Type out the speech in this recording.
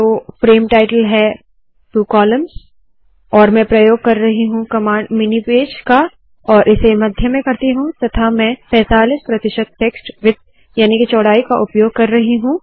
तो frame title है two columns और मैं प्रयोग कर रही हूँ कमांड मिनी pageमिनी पेज का और इसे मध्य में करती हूँ तथा मैं पैंतालीस प्रतिशत टेक्स्ट विड्थ याने के चौड़ाई का उपयोग कर रही हूँ